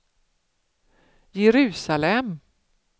Jerusalem